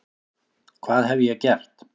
hvað hef ég gert?